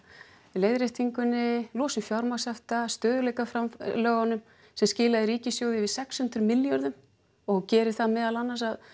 leiðréttingunni losun fjármagnshafta sem skilaði ríkissjóði yfir sex hundruð milljörðum og gerir það meðal annars að